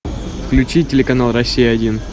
включи телеканал россия один